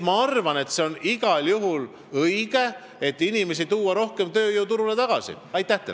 Ma arvan, et igal juhul on õige inimesi rohkem tööjõuturule tagasi tuua.